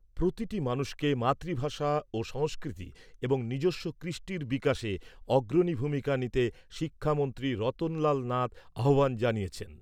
প্রতিটি মানুষকে মাতৃভাষা ও সংস্কৃতি এবং নিজস্ব কৃষ্টির বিকাশে অগ্রণী ভূমিকা নিতে শিক্ষামন্ত্রী রতনলাল নাথ আহ্বান জানিয়েছেন।